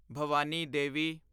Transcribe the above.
Bhavani Devi